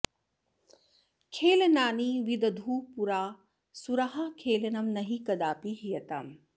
खेलनानि विदधुः पुरा सुराः खेलनं नहि कदापि हीयताम्